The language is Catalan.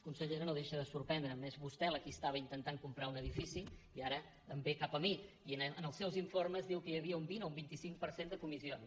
consellera no deixa de sorprendre’m és vostè la qui estava intentant comprar un edifici i ara em ve cap a mi i en els seus informes diu que hi havia un vint o un vint cinc per cent de comissions